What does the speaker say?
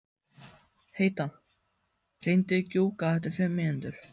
Heida, hringdu í Gjúka eftir fimm mínútur.